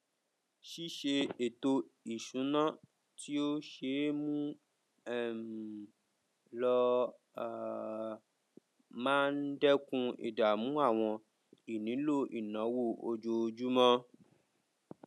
ṣíṣe ètò ìṣúná tí ó ṣe é mú um lò um máa n dẹkun ìdààmú àwọn ìnílò ìnáwó ojoojúmọ